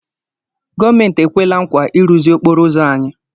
Gọọmenti ekwela nkwa ịrụzi okporo ụzọ anyị.